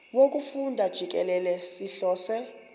wokufunda jikelele sihlose